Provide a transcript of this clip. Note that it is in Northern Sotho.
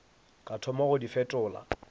ka thoma go di fetola